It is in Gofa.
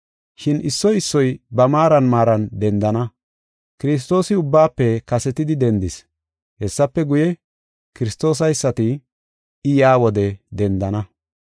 Shin issoy issoy ba maaran maaran dendana. Kiristoosi ubbaafe kasetidi dendis; hessafe guye, Kiristoosaysati I yaa wode dendana.